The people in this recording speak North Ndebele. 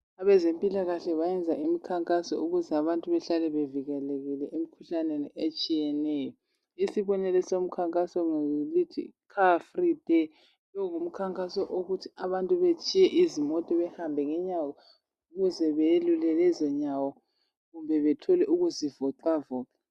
Abezempilakahle benza imikhankaso ukuze abantu bahlale bevikelekile emkhuhlaneni etshiyeneyo. Isibonelo somkhankaso ngesithi, Car free day'. Lo ngumkhankaso wokuthi abantu batshiye izimota behambe ngenyawo ukuze belule lezonyawo kumbe bethole ukuzivoxavoxa.